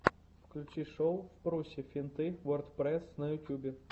включи шоу впрусе финты вордпрэсс на ютьюбе